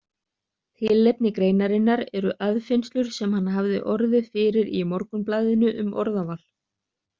Tilefni greinarinnar eru aðfinnslur sem hann hafði orðið fyrir í Morgunblaðinu um orðaval.